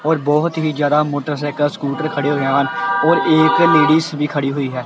ਔਰ ਬਹੁਤ ਹੀ ਜਿਆਦਾ ਮੋਟਰਸਾਈਕਲ ਸਕੂਟਰ ਖੜੇ ਹੋਏ ਹਨ ਔਰ ਇਕ ਲੇਡੀਜ ਵੀ ਖੜੀ ਹੋਈ ਹੈ।